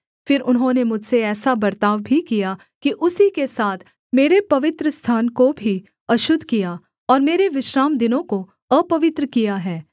फिर उन्होंने मुझसे ऐसा बर्ताव भी किया कि उसी के साथ मेरे पवित्रस्थान को भी अशुद्ध किया और मेरे विश्रामदिनों को अपवित्र किया है